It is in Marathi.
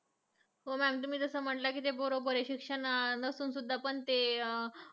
हो ma'am तुम्ही जसे म्हंटलात ते बरोबर आहे. शिक्षण नसून सुद्धा पण तेअं